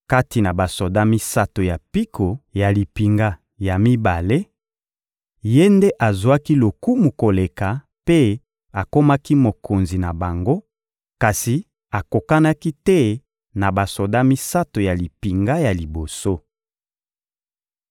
Kati na basoda misato ya mpiko ya limpinga ya mibale, ye nde azwaki lokumu koleka mpe akomaki mokonzi na bango, kasi akokanaki te na basoda misato ya limpinga ya liboso.